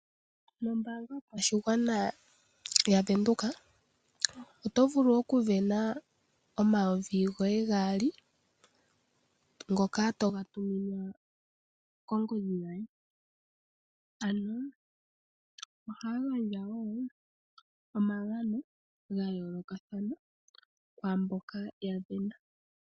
Nombaanga yopashigwana yaVenduka, oto vulu okusindana omayovi goye gaali, ngoka to ga tuminwa kongodhi yoye. Ano, ohaya gandja wo omagano ga yoolokathana, kwaamboka ya sindana.